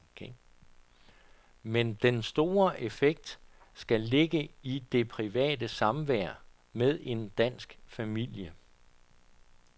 Men den store effekt skal ligge i det private samvær med en dansk familie.